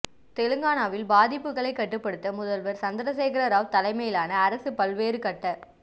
தெலுங்கானாவில் பாதிப்புகளை கட்டுப்படுத்த முதல்வர் சந்திரசேகர ராவ் தலைமையிலான அரசு பல்வேறு கட்ட